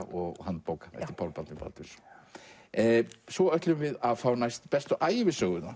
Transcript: og handbóka eftir Pál Baldvin Baldvinsson svo ætlum við að fá næst bestu ævisöguna